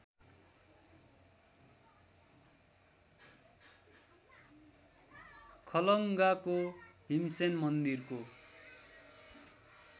खलङ्गाको भीमसेन मन्दिरको